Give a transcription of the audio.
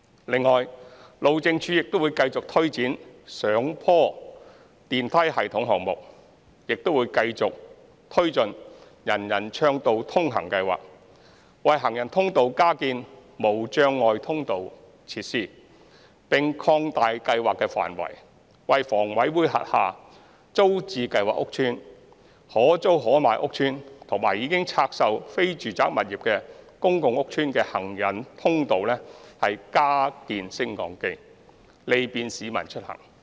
另外，路政署會繼續推展上坡電梯系統項目，亦會繼續推進"人人暢道通行"計劃，為行人通道加建無障礙通道設施，並擴大計劃範圍，為房委會轄下"租置計劃"屋邨、"可租可買計劃"屋邨和已拆售非住宅物業的公共屋邨的行人通道加建升降機，利便市民出行。